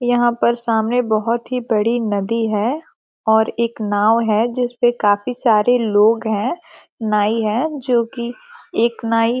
यहाँ पर सामने बहुत बड़ी नदी है और एक नाव है जिस पे काफी सारे लोग है नाइ है जो की एक नाइ --